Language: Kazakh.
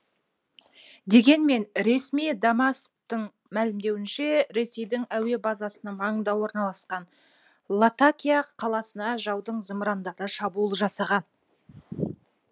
дегенмен ресми дамасктің мәлімдеуінше ресейдің әуе базасының маңында орналасқан латакия қаласына жаудың зымырандары шабуыл жасаған